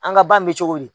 An ka ba in bɛ cogo di